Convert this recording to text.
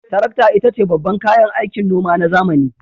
Tarakta ita ce babban kayan aikin noma na zamani.